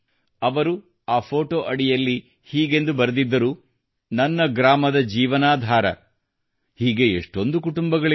ಅವರು ಆ ಫೋಟೋ ಅಡಿಯಲ್ಲಿ ಹೀಗೆಂದು ಬರೆದಿದ್ದರು ನನ್ನ ಗ್ರಾಮದ ಜೀವನಾಧಾರ ಹೀಗೆ ಎಷ್ಟೊಂದು ಕುಟುಂಬಗಳಿವೆ